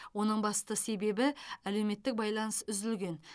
оның басты себебі әлеуметтік байланыс үзілген